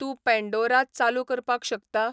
तूं पँडोरा चालू करपाक शकता?